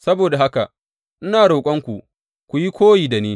Saboda haka, ina roƙonku ku yi koyi da ni.